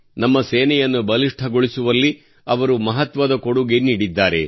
ನಮ್ಮ ಸೇನೆಯನ್ನು ಬಲಿಷ್ಠಗೊಳಿಸುವಲ್ಲಿ ಅವರು ಮಹತ್ವದ ಕೊಡುಗೆ ನೀಡಿದ್ದಾರೆ